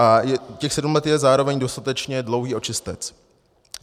A těch sedm let je zároveň dostatečně dlouhý očistec.